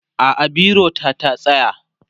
a'a biro ta ta tsaya